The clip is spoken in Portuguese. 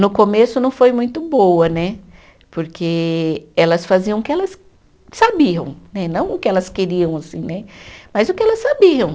No começo não foi muito boa né, porque elas faziam o que elas sabiam, né não o que elas queriam assim né, mas o que elas sabiam.